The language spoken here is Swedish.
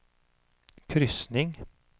kryssning